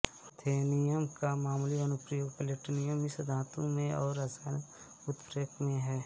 ruthenium का मामूली अनुप्रयोग प्लैटिनम मिश्र धातुओं में और रसायन उत्प्रेरक में है